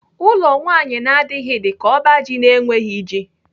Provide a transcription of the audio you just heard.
Ụlọ nwaanyị na-adịghị dịka ọba ji na-enweghị ji.